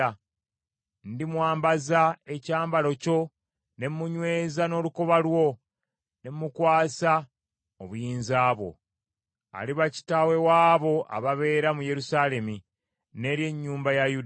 Ndimwambaza ekyambalo kyo, ne munyweza n’olukoba lwo, ne mukwasa obuyinza bwo. Aliba kitaawe w’abo ababeera mu Yerusaalemi, n’eri ennyumba ya Yuda.